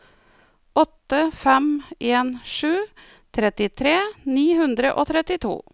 åtte fem en sju trettitre ni hundre og trettito